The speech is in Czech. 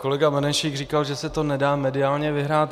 Kolega Benešík říkal, že se to nedá mediálně vyhrát.